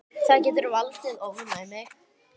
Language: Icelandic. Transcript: Það getur valdið ofnæmi.